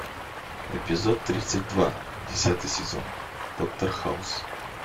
эпизод тридцать два десятый сезон доктор хаус